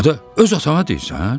Adı, öz atana deyirsən?